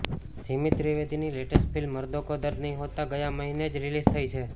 જીમિત ત્રિવેદીની latest film Mard Ko Dard Nahin Hota ગયા મહિને જ રિલીઝ થઈ છે